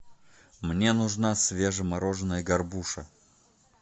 мне нужна свежемороженая горбуша